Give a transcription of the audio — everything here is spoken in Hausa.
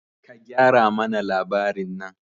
Ka gyara mana labarin nan!